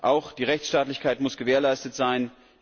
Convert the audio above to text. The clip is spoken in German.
Auch die Rechtsstaatlichkeit muss gewährleistet sein.